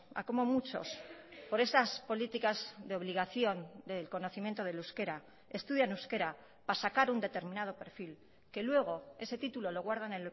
a como muchos por esas políticas de obligación del conocimiento del euskera estudian euskera para sacar un determinado perfil que luego ese título lo guardan